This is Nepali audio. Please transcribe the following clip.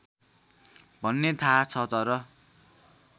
भन्ने थाहा छ तर